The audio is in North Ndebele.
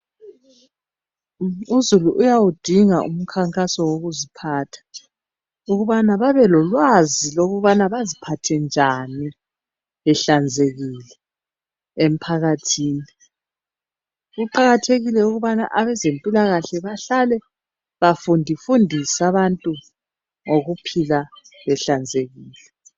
Uzulu uyawudinga umkhankaso wokuziphatha ukubana babelolwazi lokuthi baziphathe njani behlanzekile emphakathini. Kuqakathekile ukubana abezempilakahle bahlale bafundi-fundise abantu ngokuohila behlanzekile.